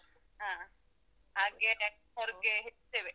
ಹ. ಹಾಗೆ ಹೊರ್ಗೆ ಹೇಳಿದ್ದೇವೆ.